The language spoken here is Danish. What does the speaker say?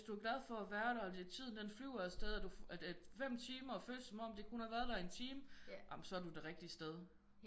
Hvis du er glad for at være der og at tiden den flyver af sted og at 5 timer føles som om du kun har været der i 1 time jamen så er du det rigtige sted